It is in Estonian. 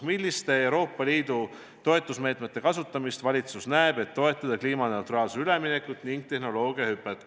"Milliste Euroopa Liidu toetusmeetmete kasutamist valitsus näeb, et toetada kliimaneutraalsusele üleminekut ning tehnoloogiahüpet?